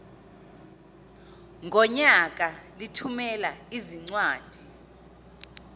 ngonyaka lithumela izincwadi